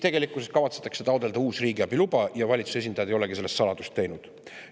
Tegelikkuses kavatsetakse taotleda uus riigiabiluba, valitsuse esindajad ei olegi sellest saladust teinud.